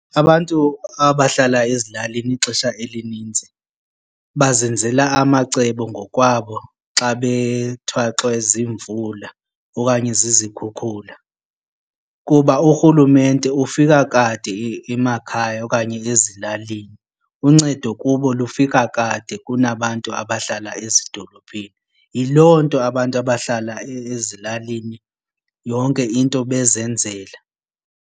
Abantu abahlala ezilalini ixesha elininzi bazenzela amacebo ngokwabo xa bethwaxwe ziimvula okanye zikhukhula kuba urhulumente ufika kade emakhaya okanye ezilalini. Uncedo kubo lufika kade kunabantu abahlala ezidolophini, yiloo nto abantu abahlala ezilalini yonke into bezenzela.